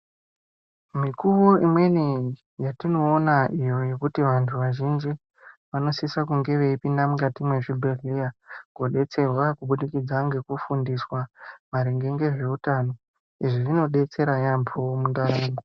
Mikuwo imweni yatinoona iyo yekuti vantu vazhinji ,vanosisa kunge veipinda mukati mwezvibhedhleya, kodetserwa kubudikidza ngekufundiswa, maringe ngezveutano. Izvi zvinodetsera yaampho mundaramo.